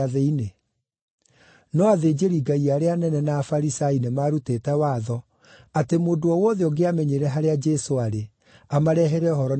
No athĩnjĩri-Ngai arĩa anene na Afarisai nĩmarutĩte watho atĩ mũndũ o wothe ũngĩamenyire harĩa Jesũ aarĩ, amarehere ũhoro nĩgeetha mamũnyiite.